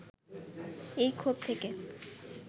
এই ক্ষোভ থেকে